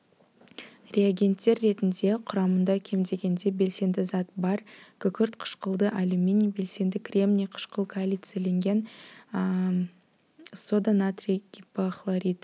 реагенттер ретінде құрамында кем дегенде белсенді зат бар күкірт қышқылды алюминий белсенді кремний қышқыл калицийленген сода натрий гипохлоритін